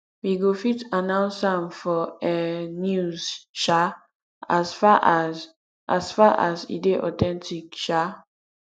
we go fit announce am for um news um as far as as far as e dey authentic um